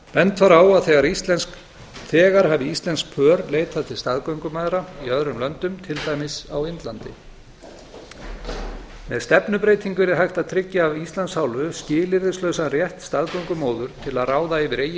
bent var á að þegar hafi íslensk pör leitað til staðgöngumæðra í öðrum löndum til dæmis á indlandi ef stefnubreytingu yrði hægt að tryggja af íslands hálfu skilyrðislausan rétt staðgöngumóður til að ráða yfir eigin